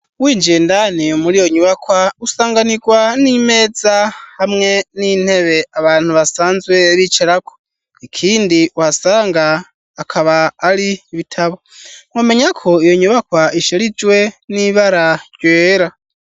Winjiye indani muri yo nyubakwa ,usanganigwa n'imeza, hamwe n'intebe abantu basanzwe bicarako, ikindi uhasanga akaba ari ibitabo, mwomenya ko iyo nyubakwa isharijwe ,n'ibara ryera.